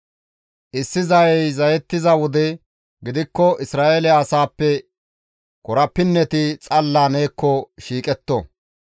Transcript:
Issi zayey zayettiza wode gidikko Isra7eele asaappe korapinneti xalla neekko shiiqetto.